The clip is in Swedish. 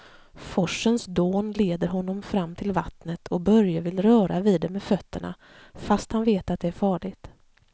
Forsens dån leder honom fram till vattnet och Börje vill röra vid det med fötterna, fast han vet att det är farligt.